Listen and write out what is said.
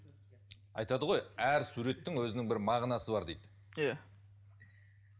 айтады ғой әр суреттің өзінің бір мағынасы бар дейді иә